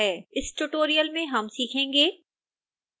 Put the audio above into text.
इस ट्यूटोरियल में हम निम्न सीखेंगेः